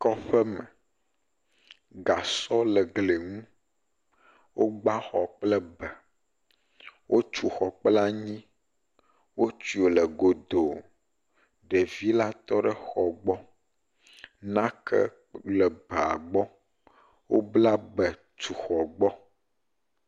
Kɔƒe me. Gasɔ le eglia nu. Wo gba xɔ kple be. Wotu xɔ kple anyi. Wotia wole godo. Ɖevi la tɔ ɖe exɔ gbɔ. Nake le ebea gbɔ. Wo bla be tu xɔ gbɔ.